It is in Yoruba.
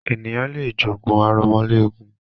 Ènìyàn lé jogún aromọléegun.